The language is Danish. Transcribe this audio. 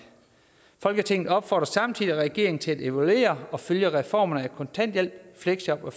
folketinget opfordrer samtidig regeringen til at evaluere og følge reformerne af kontanthjælp fleksjob og